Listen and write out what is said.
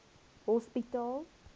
hospitaal